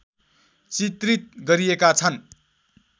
चित्रित गरिएका छन्